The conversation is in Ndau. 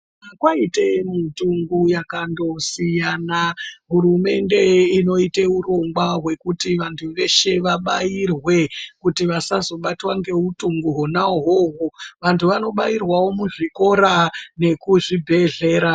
Kwaite mitombo yakandosiyana, hurumende inoite urongwa hwekuti vantu vese vabairwe kuti vasazobatwa ngeutumbu huna hoho vantu vanobairwewo muzvikora nemuzvibhedhlera.